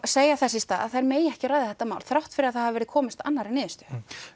segja þess í stað að þær megi ekki ræða þetta mál þrátt fyrir að það hafi verið komist að annarri niðurstöðu